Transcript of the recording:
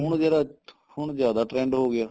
ਹੁਣ ਜਿਹੜਾ ਹੁਣ ਜਿਆਦਾ trend ਹੋ ਗਿਆ